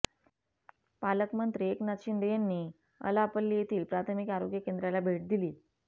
पालकमंत्री एकनाथ शिंदे यांनी अलापल्ली येथील प्राथमिक आरोग्य केंद्राला भेट दिली